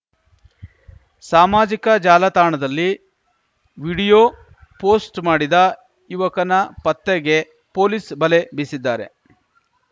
ಸಾಮಾಜಿಕ ಜಾಲತಾಣದಲ್ಲಿ video post ಮಾಡಿದ ಯುವಕನ ಪತ್ತೆಗೆ ಪೊಲೀಸ್ ಬಲೆ ಬೀಸಿದ್ದಾರೆ